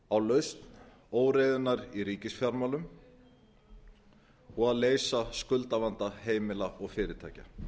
á lausn óreiðunnar í ríkisfjármálum og að leysa skuldavandamál heimila og fyrirtækja